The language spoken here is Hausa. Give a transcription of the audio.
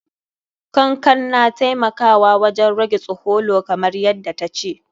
Kankan na taimakawa wajen rage tsholo, kamar yadda ta ce.